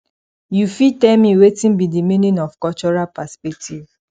you fit tell me wetin be di meaning of cultural perspectives